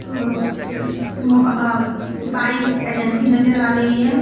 अं मोबा bike agency नजर आ रही है।